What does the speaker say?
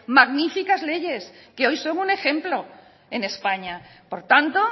magníficas leyes que hoy son un ejemplo en españa por tanto